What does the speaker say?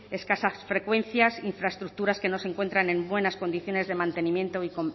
escasas frecuencias infraestructuras que no se encuentran en buenas condiciones de mantenimiento y